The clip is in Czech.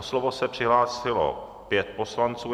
O slovo se přihlásilo pět poslanců.